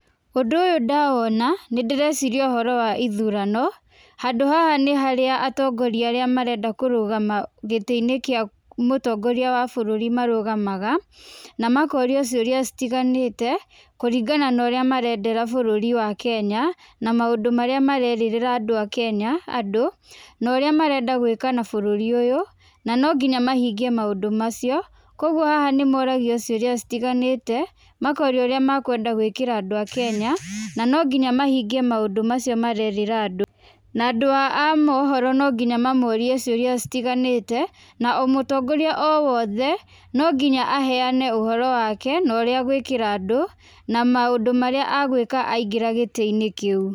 Ũndũ ũyũ ndawona, nĩ ndĩreciria ũhoro wa ithurano, handũ haha nĩ harĩa atongoria arĩa marenda kũrũgama gĩtĩ-inĩ kĩa mũtongoria wa bũrũri marũgamaga, na makorio ciũria citiganĩte, kũringana na ũrĩa marendera bũrũri wa Kenya, na maũndũ marĩa marerĩrĩra andũ a Kenya andũ, na ũrĩa marenda gwĩka na bũrũri ũyũ, na no nginya mahingie maũndũ macio. Kũguo haha nĩ moragio ciũria citiganĩte, makorio ũrĩa makwenda gwĩkĩra andũ a Kenya, na no nginya mahingie maũndũ macio marerĩrĩra andũ. Na andũ a mohoro no nginya mamorie ciũria citiganĩte, na o mũtongoria o wothe no nginya aheane ũhoro wake, na ũrĩa a gwĩkĩra andũ na maũndũ marĩa agwĩka aingĩra gĩtĩ-inĩ kĩu.